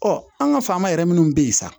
an ka faama yɛrɛ minnu bɛ yen sisan